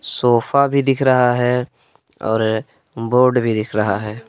Sofa भी दिख रहा है और बोर्ड भी दिख रहा है।